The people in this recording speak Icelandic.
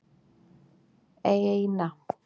eina